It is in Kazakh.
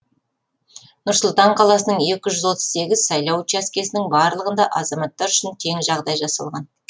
нұр сұлтан қаласының екі жүз отыз сегіз сайлау учаскесінің барлығында азаматтар үшін тең жағдай жасалған